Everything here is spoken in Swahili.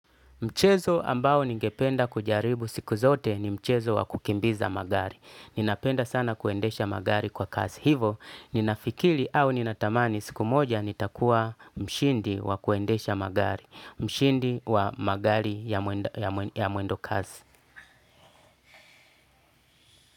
Mchezo ambao ningependa kujaribu siku zote ni mchezo wa kukimbiza magari. Ninapenda sana kuendesha magari kwa kasi. Hivo, ninafikiri au ninatamani siku moja nitakuwa mshindi wa kuendesha magari, mshindi wa magari ya mwendo kasi.